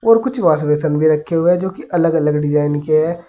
जो कुछ wash basin भी रखे हुए है जो कि अलग अलग डिजाइन के है।